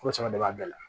Ko sɛbɛ de b'a bɛɛ la